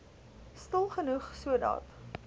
stil genoeg sodat